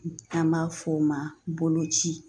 An b'a f'o ma boloci